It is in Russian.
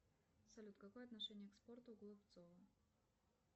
салют какое отношение к спорту у голубцова